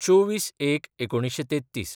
२४/०१/१९३३